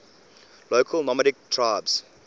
local nomadic tribes